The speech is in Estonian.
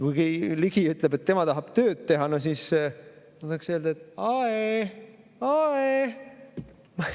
Kui Ligi ütleb, et tema tahab tööd teha, siis ma tahaksin öelda: "Ae, ae!